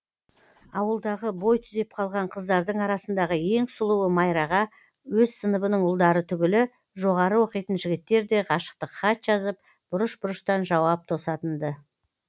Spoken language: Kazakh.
ауылдағы бой түзеп қалған қыздардың арасындағы ең сұлуы майраға өз сыныбының ұлдары түгілі жоғары оқитын жігіттер де ғашықтық хат жазып бұрыш бұрыштан жауап тосатын ды